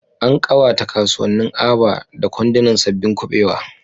An kawata kasuwannin Aba da kwandunan sabbin kubewa.